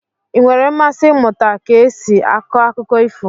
Ị nwere mmasị ịmụta ka esi akọ akụkọ ifo?